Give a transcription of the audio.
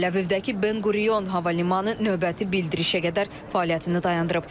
Təl-Əvivdəki Ben Qurion hava limanı növbəti bildirişə qədər fəaliyyətini dayandırıb.